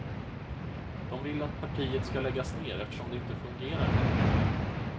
De vill att partiet ska läggas ner eftersom det inte fungerar längre.